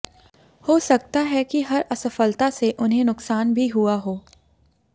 हो सकता है कि हर असफलता से उन्हें नुकसान भी हुआ हो